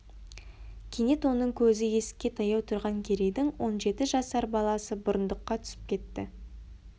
кенет оның көзі есікке таяу тұрған керейдің он жеті жасар баласы бұрындыққа түсіп кетті